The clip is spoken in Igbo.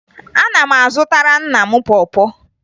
Ana m azụtara nna m pọ pọ